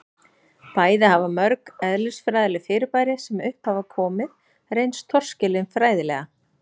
bæði hafa mörg eðlisfræðileg fyrirbæri sem upp hafa komið reynst torskilin fræðilega